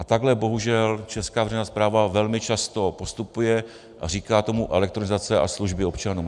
A takhle bohužel česká veřejná správa velmi často postupuje a říká tomu elektronizace a služby občanům.